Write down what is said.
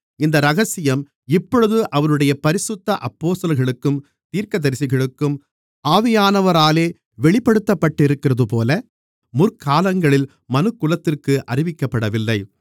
இந்த இரகசியம் இப்பொழுது அவருடைய பரிசுத்த அப்போஸ்தலர்களுக்கும் தீர்க்கதரிசிகளுக்கும் ஆவியானவராலே வெளிப்படுத்தப்பட்டிருக்கிறதுபோல முற்காலங்களில் மனுக்குலத்திற்கு அறிவிக்கப்படவில்லை